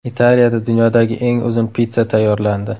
Italiyada dunyodagi eng uzun pitssa tayyorlandi.